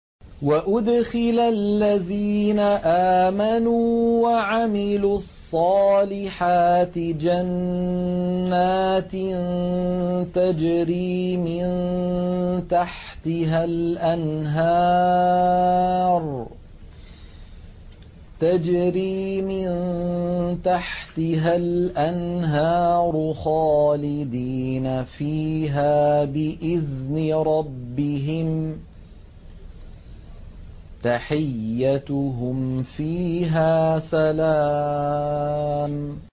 وَأُدْخِلَ الَّذِينَ آمَنُوا وَعَمِلُوا الصَّالِحَاتِ جَنَّاتٍ تَجْرِي مِن تَحْتِهَا الْأَنْهَارُ خَالِدِينَ فِيهَا بِإِذْنِ رَبِّهِمْ ۖ تَحِيَّتُهُمْ فِيهَا سَلَامٌ